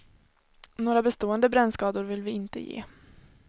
Några bestående brännskador vill vi inte ge.